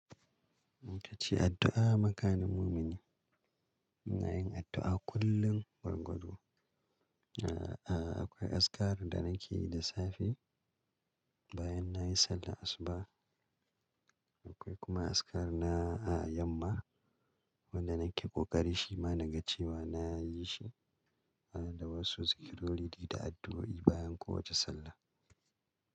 Itace addu'a makanin mumini. Muna yin addu'a kullum gwargwado. A-a-a akwai azkar da nake yi da safe, bayan nayi sallar asuba. Akwai kuma azkar na a yamma wanda nake kokari shi ma na gacewa na yi shi, ana da wasu zikirori da addu'o'i bayan kowace sallah.